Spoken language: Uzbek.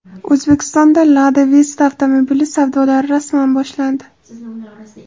O‘zbekistonda Lada Vesta avtomobili savdolari rasman boshlandi.